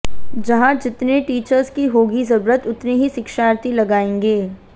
जहां जितने टीचर्स की होगी जरूरत उतने ही शिक्षार्थी लगाएंगे